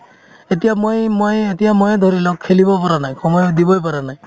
এতিয়া মই~ ময়ে এতিয়া ময়ে ধৰি লওক খেলিব পৰা নাই সময়ো দিবই পৰা নাই